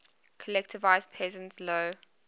collectivized peasants low